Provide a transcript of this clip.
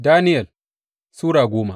Daniyel Sura goma